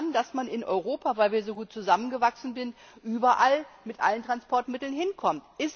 Die nehmen an, dass man in Europa, weil wir so gut zusammengewachsen sind, überall mit allen Transportmitteln hinkommt.